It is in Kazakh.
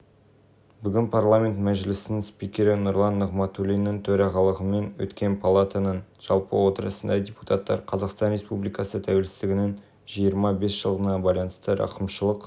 бүгін парламент мәжілісінің спикері нұрлан нығматулиннің төрағалығымен өткен палатаның жалпы отырысында депутаттар қазақстан республикасы тәуелсіздігініңжиырма бес жылдығына байланысты рақымшылық